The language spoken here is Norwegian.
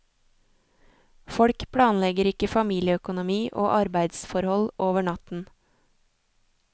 Folk planlegger ikke familieøkonomi og arbeidsforhold over natten.